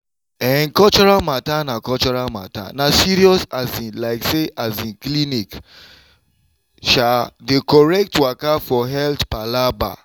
eh cultural matter na cultural matter na serious um like say um clinic um dey correct waka for health palava.